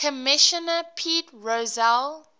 commissioner pete rozelle